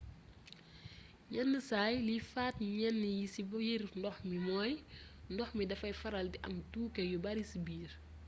yenn saay liy faat jën yi ci biir ndox mi mooy ndox mi dafay faral di am tooke yu bari ci biir